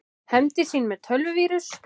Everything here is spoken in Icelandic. Hefndi sín með tölvuvírus